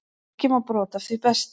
Kíkjum á brot af því besta.